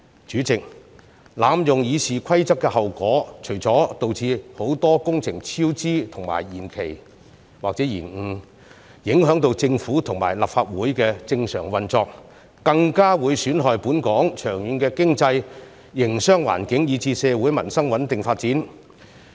主席，濫用《議事規則》的後果，除了導致很多工程超支和延期或延誤，影響到政府和立法會的正常運作外，更會損害本港長遠的經濟營商環境，以至社會民生的穩定發展。